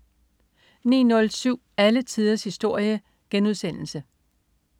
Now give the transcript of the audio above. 09.07 Alle tiders historie*